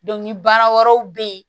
baara wɛrɛw bɛ ye